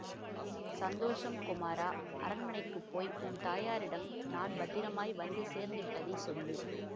சந்தோஷம் குமாரா அரண்மனைக்கு போய் உன் தாயாரிடம் நான் பத்திரமாய் வந்து சேர்ந்துவிட்டதைச் சொல்லு